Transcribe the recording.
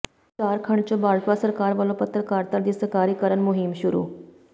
ਝਾਰਖੰਡ ਚ ਭਾਜਪਾ ਸਰਕਾਰ ਵਲੋਂ ਪੱਤਰਕਾਰਤਾ ਦੀ ਸਰਕਾਰੀਕਰਨ ਮੁਹਿੰਮ ਸ਼ੁਰੂ